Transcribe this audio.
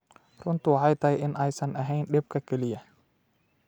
runtu waxay tahay in aysan ahayn dhibka kaliya.